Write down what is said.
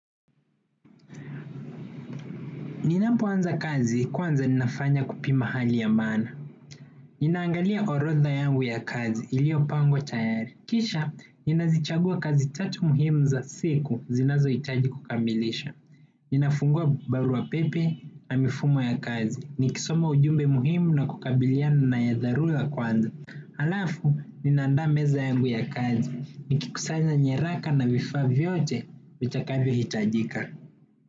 Ninapoanza kazi kwanza ninafanya kupima hali ya maana. Ninaangalia orodha yangu ya kazi iliyopangwa tayari. Kisha, ninazichagua kazi tatu muhimu za siku zinazohitaji kukamilisha. Ninafungua barua pepe na mifumo ya kazi. Nikisoma ujumbe muhimu na kukabiliana na ya dharura kwanza. Halafu, ninaandaa meza yangu ya kazi. Nikikusanya nyaraka na vifaa vyote vitakavyohitajika.